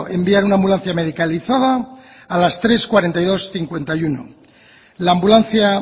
enviar una ambulancia medicalizada a las tres cuarenta y dos cincuenta y uno la ambulancia